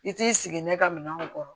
I t'i sigi ne ka minɛnw kɔrɔ